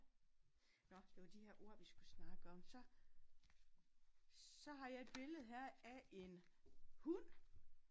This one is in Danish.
Nåh det var de her ord vi skulle snakke om. Så så har jeg et billede her af en hund